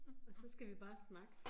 Og så skal vi bare snakke